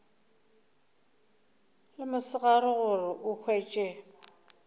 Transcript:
le mosegare gore o hwetše